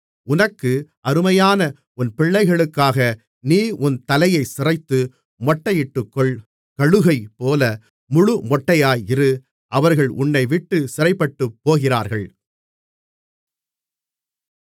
உனக்கு அருமையான உன் பிள்ளைகளுக்காக நீ உன் தலையைச் சிரைத்து மொட்டையிட்டுக்கொள் கழுகைப்போல முழுமொட்டையாயிரு அவர்கள் உன்னைவிட்டுச் சிறைப்பட்டுப் போகிறார்கள்